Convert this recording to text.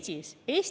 Harige ennast!